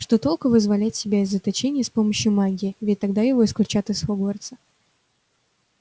что толку вызволять себя из заточения с помощью магии ведь тогда его исключат из хогвартса